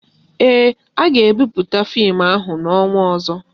Ee, a ga-ebupute fim ahụ n'ọnwa ọzọ